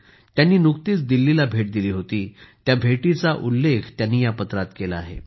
त्यांनी नुकतीच दिल्लीला भेट दिली त्या भेटीचा उल्लेख त्यांनी या पत्रात केला आहे